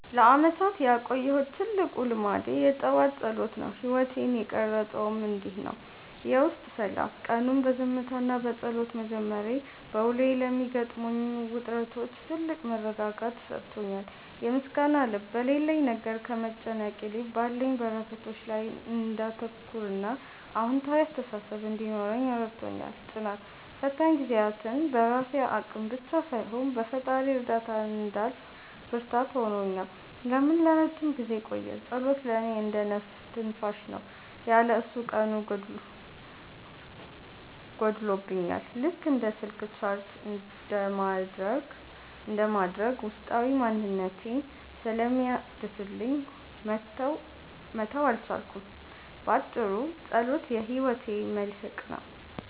ለዓመታት ያቆየሁት ትልቁ ልማዴ የጠዋት ጸሎት ነው። ሕይወቴን የቀረፀውም እንዲህ ነው፦ የውስጥ ሰላም፦ ቀኑን በዝምታና በጸሎት መጀመሬ፣ በውሎዬ ለሚገጥሙኝ ውጥረቶች ትልቅ መረጋጋትን ሰጥቶኛል። የምስጋና ልብ፦ በሌለኝ ነገር ከመጨነቅ ይልቅ ባሉኝ በረከቶች ላይ እንዳተኩርና አዎንታዊ አስተሳሰብ እንዲኖረኝ ረድቶኛል። ጽናት፦ ፈታኝ ጊዜያትን በራሴ አቅም ብቻ ሳይሆን በፈጣሪ እርዳታ እንዳልፍ ብርታት ሆኖኛል። ለምን ለረጅም ጊዜ ቆየ? ጸሎት ለእኔ እንደ "ነፍስ ትንፋሽ" ነው። ያለ እሱ ቀኑ ጎድሎብኛል፤ ልክ እንደ ስልክ ቻርጅ እንደማድረግ ውስጣዊ ማንነቴን ስለሚያድስልኝ መተው አልቻልኩም። ባጭሩ፣ ጸሎት የሕይወቴ መልሕቅ ነው።